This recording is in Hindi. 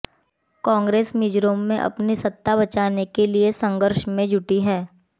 कांग्रेस मिजोरम में अपनी सत्ता बचाने के संघर्ष में जुटी है